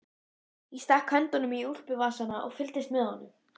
Ég stakk höndunum í úlpuvasana og fylgdist með honum.